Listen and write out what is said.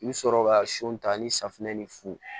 I bi sɔrɔ ka son ta ni safunɛ ni fu